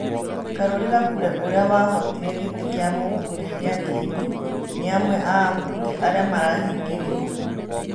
Karuri Gakure ũria wahotire gĩtĩ kĩa mũbũnge gĩa kĩenĩ nĩ amwe a abũnge arĩa marahingĩrĩtwo